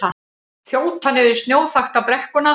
Þjóta niður snjóþakta brekkuna